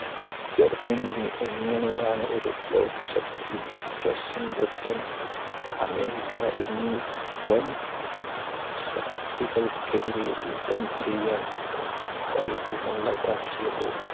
ജർമ്മനിയെ എങ്ങനെയാണ് ഒരു ലോക ശക്തി റഷ്യൻ, ബ്രിട്ടൻ, അമേരിക്ക എന്നീവൻ ശക്തികൾക്കെതിരെ യുദ്ധം ചെയ്യാൻ തക്ക കൈവമുള്ളതാക്കിയത്.